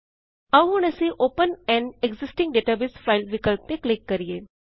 ਆਓ ਹੁਣ ਅਸੀ open an existing database file ਵਿਕਲਪ ਤੇ ਕਲਿਕ ਕਰਿਏ